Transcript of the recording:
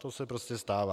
To se prostě stává.